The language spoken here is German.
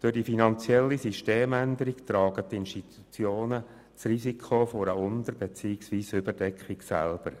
Durch die finanzielle Systemänderung tragen die Institutionen das Risiko einer Unter- beziehungsweise Überdeckung selber.